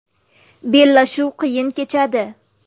Bellashuv qiyin kechadi.